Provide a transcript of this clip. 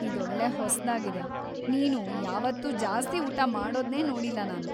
ಇದೊಳ್ಳೆ ಹೊಸ್ದಾಗಿದೆ. ನೀನು ಯಾವತ್ತೂ ಜಾಸ್ತಿ ಊಟ ಮಾಡೋದ್ನೇ ನೋಡಿಲ್ಲ ನಾನು.